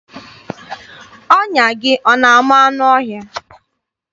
Ọnya gị ọ na-ama anụ ọhịa?